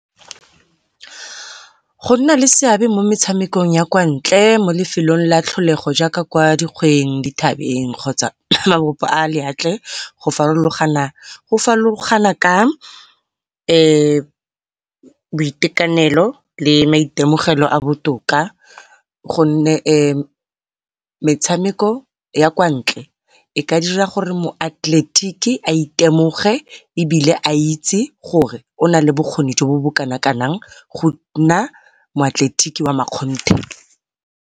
Go nna le seabe mo metshamekong ya kwantle mo lefelong la tlholego jaaka kwa dikgweng, dithabeng kgotsa mabopo a lewatle go farologana ka boitekanelo le maitemogelo a botoka, gonne metshameko ya kwantle e ka dira gore moatleletiki a itemoge ebile a itse gore o nale bokgoni jo bo bo kanakanang go nna moatleletiki wa makgonthe.